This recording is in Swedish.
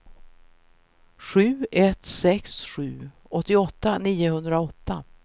sju ett sex sju åttioåtta niohundraåtta